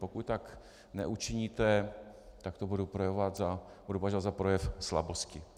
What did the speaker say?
Pokud tak neučiníte, tak to budu považovat za projev slabosti.